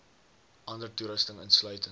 ander toerusting insluitend